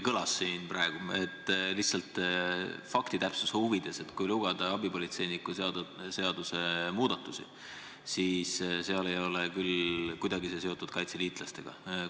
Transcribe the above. Ütlen lihtsalt faktitäpsuse huvides, et kui lugeda abipolitseiniku seaduse muudatusi, siis need ei ole küll kuidagi kaitseliitlastega seotud.